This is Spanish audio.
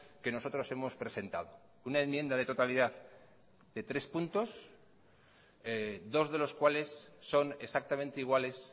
que nosotros hemos presentado una enmienda de totalidad de tres puntos dos de los cuales son exactamente iguales